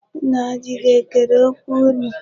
Nna di gị ekere okwu unu?